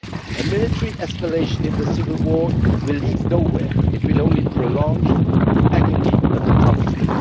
A military escalation in the civil war will lead nowhere it will only prolong the agony of the conflict.